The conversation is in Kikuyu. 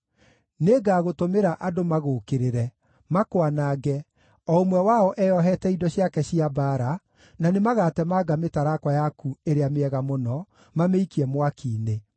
Nĩngagũtũmĩra andũ magũũkĩrĩre, makwanange, o ũmwe wao eyohete indo ciake cia mbaara, na nĩmagatemanga mĩtarakwa yaku ĩrĩa mĩega mũno, mamĩikie mwaki-inĩ.